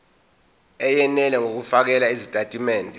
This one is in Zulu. eyenele ngokufakela izitatimende